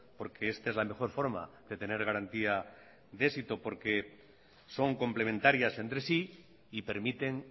porque esta es la mejor forma de tener garantía de éxito porque son complementarias entre sí y permiten